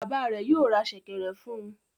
Bàbá rẹ̀ yóò ra ṣẹ̀kẹ̀rẹ̀ fún un.